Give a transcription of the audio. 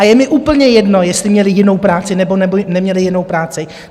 A je mi úplně jedno, jestli měli jinou práci, nebo neměli jinou práci.